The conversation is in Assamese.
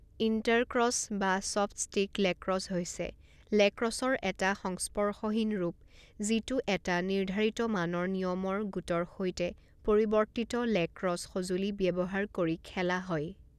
ইন্টাৰক্ৰছ বা ছফ্ট ষ্টিক লেক্ৰছ হৈছে লেক্ৰছৰ এটা সংস্পৰ্শহীন ৰূপ যিটো এটা নিৰ্ধাৰিত মানৰ নিয়মৰ গোটৰ সৈতে পৰিৱৰ্তিত লেক্ৰছ সঁজুলি ব্যৱহাৰ কৰি খেলা হয়।